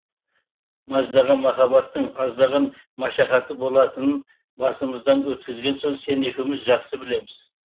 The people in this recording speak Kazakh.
маздаған махаббаттың аздаған машақаты болатынын басымыздан өткізген соң сен екеуміз жақсы білеміз